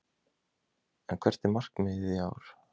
En hvert er markmiðið í ár?